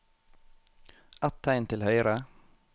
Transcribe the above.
Ett tegn til høyre